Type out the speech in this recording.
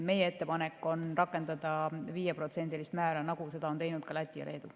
Meie ettepanek on rakendada 5%‑list määra, nagu seda on teinud Läti ja Leedu.